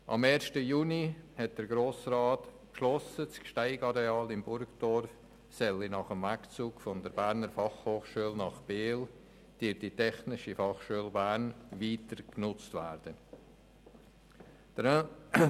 Am 1. Juni hat der Grosse Rat beschlossen, das Gsteig-Areal in Burgdorf nach dem Wegzug der Berner Fachhochschule (BFH) nach Biel durch die Technische Fachschule Bern (TF Bern) weiter zu nutzen.